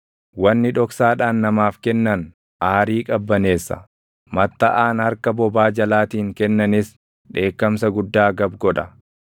Wanni dhoksaadhaan namaaf kennan aarii qabbaneessa; mattaʼaan harka bobaa jalaatiin kennanis // dheekkamsa guddaa gab godha.